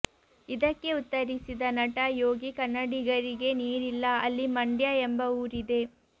ಇದಕ್ಕೆ ಉತ್ತರಿಸಿದ ನಟ ಯೋಗಿ ಕನ್ನಡಿಗರಿಗೇ ನೀರಿಲ್ಲ ಅಲ್ಲಿ ಮಂಡ್ಯ ಎಂಬ ಊರಿದೆ